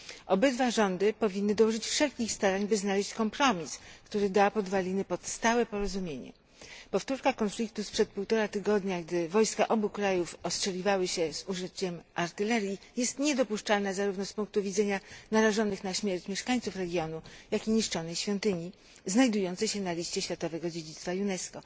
Obydwa rządy powinny dołożyć wszelkich starań, by znaleźć kompromis, który da podwaliny pod stałe porozumienie. Powtórka konfliktu sprzed półtora tygodnia, gdy wojska obu krajów ostrzeliwały się z użyciem artylerii jest niedopuszczalna zarówno z punku widzenia narażonych na śmierć mieszkańców regionu, jak i niszczonej świątyni znajdującej się na liście światowego dziedzictwa UNESCO.